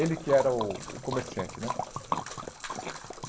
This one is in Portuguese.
Ele que era o o comerciante, né?